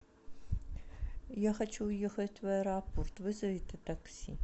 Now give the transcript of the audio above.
я хочу уехать в аэропорт вызовите такси